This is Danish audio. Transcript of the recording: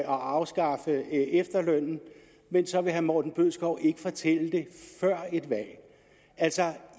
afskaffe efterlønnen men så vil herre morten bødskov ikke fortælle det før et valg altså